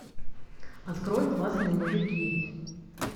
открой классные мужики